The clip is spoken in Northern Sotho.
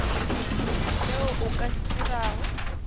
seo o ka se dirago